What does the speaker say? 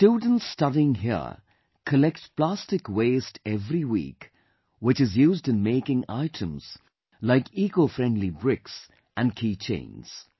The students studying here collect plastic waste every week, which is used in making items like ecofriendly bricks and key chains